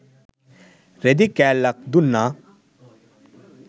රෙදි කෑල්ලක් දුන්නා.